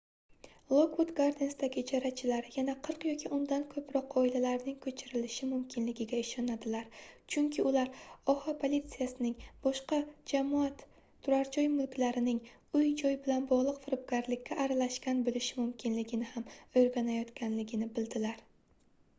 lokvud gardensdagi ijarachilar yana 40 yoki undan koʻproq oilalarning koʻchirilishi mumkinligiga ishonadilar chunki ular oha politsiyasining boshqa jamoat turarjoy mulklarining uy-joy bilan bogʻliq firibgarlikka aralashgan boʻlishi mumkinligini ham oʻrganayotganligini bildilar